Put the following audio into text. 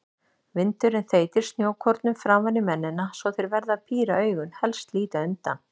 Vindurinn þeytir snjókornum framan í mennina svo þeir verða að píra augun, helst líta undan.